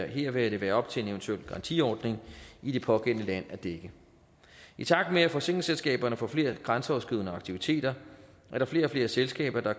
her vil det være op til en eventuel garantiordning i det pågældende land at dække i takt med at forsikringsselskaberne får flere grænseoverskridende aktiviteter er der flere og flere selskaber der